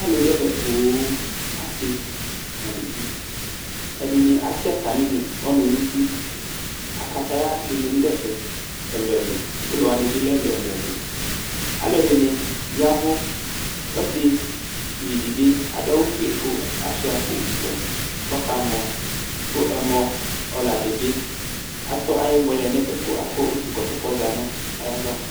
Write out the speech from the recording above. Alʋ dʋ ɛvɛ poo: asɩ nʋ aluvi Ɛdɩnɩ atɛ atamɩ ɔnʋ nʋ uti Akataya dɩnɩ bɩ dʋ ɛfɛ ɛlʋ ɛlʋ Ʋlɔ wanɩ bɩ lɛ ɛlʋ Ɛlʋ ɛlʋ Alʋ ɛdɩnɩ ya ɛvʋ Ɔsɩʋi dɩ bɩ adʋ aɣʋ ofue kʋ ashʋa akpo ɔwɛ kʋ ɔkamɔ, kʋ ɛmɔ ɔla dɩ bɩ atɔ ayʋ ɛmɔ yɛ lɛ nʋ ɛfɛ kʋ akɔ utu ɛkɔtɔ kʋ ɔza nʋ ayʋ ava